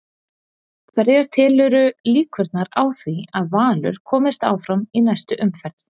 Hverjar telurðu líkurnar á því að Valur komist áfram í næstu umferð?